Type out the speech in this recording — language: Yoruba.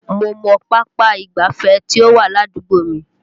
Mo mọ pápá ìgbáfẹ́ tí ó wà ládùúgbò mi